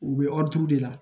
U bɛ de la